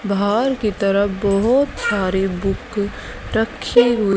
बाहर की तरफ बहोत सारी बुक रखें हुए--